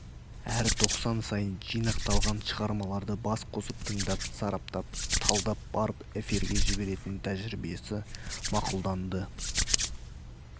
әр тоқсан сайын жинақталған шығармаларды бас қосып тыңдап сараптап талдап барып эфирге жіберетін тәжірибесі мақұлданды